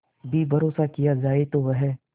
भी भरोसा किया जाए तो वह